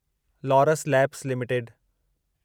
Laurus labs limited